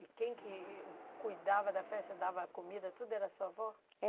E quem que cuidava da festa, dava comida, tudo, era sua avó? É